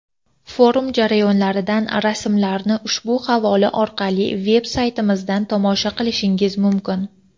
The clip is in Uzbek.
Forum jarayonidan rasmlarni ushbu havola orqali veb saytimizda tomosha qilishingiz mumkin.